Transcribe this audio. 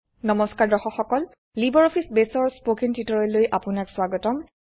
নমস্কাৰ দৰ্শক সকল লাইব্ৰঅফিছ বেসৰ স্পকেন টিউটোৰিয়েললৈ আপোনাক স্বাগতম